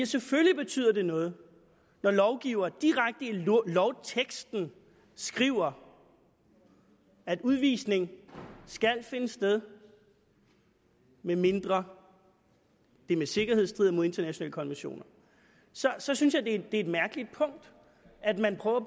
selvfølgelig betyder noget når lovgiver direkte i lovteksten skriver at udvisning skal finde sted medmindre det med sikkerhed strider imod internationale konventioner så så synes jeg det er mærkeligt at man prøver